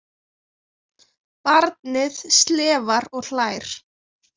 Barnið slefar og hlær.